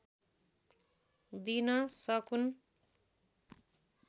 दिन सकून्